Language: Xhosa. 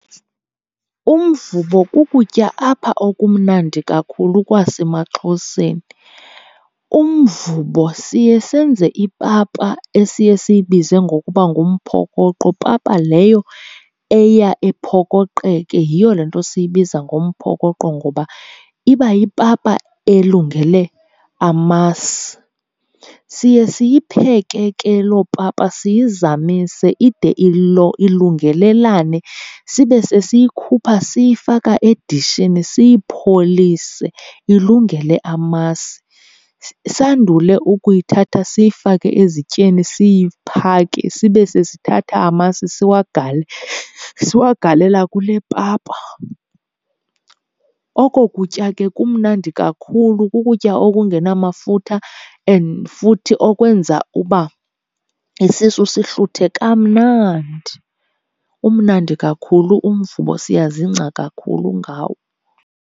Umvubo kukutya apha okumnandi kakhulu kwasemaXhoseni. Umvubo siye senze ipapa esiye siyibize ngokuba ngumphokoqo, papa leyo eya iphokoqeke. Yiyo le nto siyibiza ngomphokoqo, ngoba iba yipapa elungele amasi. Siye siyipheke ke loo papa siyizamise ide ilungelelane, sibe sesiyikhupha siyifaka edishini siyipholise ilungele amasi. Sandule ukuyithatha siyifake ezityeni siyiphake, sibe sesithatha amasi siwagalela kule papa. Oko kutya ke kumnandi kakhulu, kukutya okungenamafutha and futhi okwenza uba isisu sihluthe kamnandi. Umnandi kakhulu umvubo, siyazingca kakhulu ngawo.